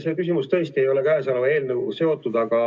See küsimus tõesti ei ole käesoleva eelnõuga seotud.